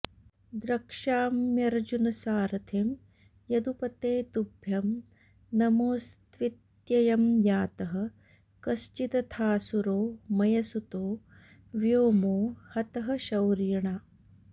द्रक्ष्याम्यर्जुनसारथिं यदुपते तुभ्यं नमोऽस्त्वित्ययं यातः कश्चिदथासुरो मयसुतो व्योमो हतः शौरिणा